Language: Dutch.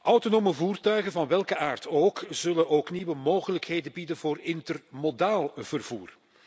Autonome voertuigen, van welke aard dan ook, zullen ook nieuwe mogelijkheden bieden voor intermodaal vervoer.